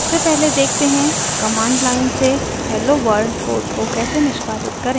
सबसे पहले देखते हैं कमांड लाइन से hello world कोड को कैसे निष्पादित करें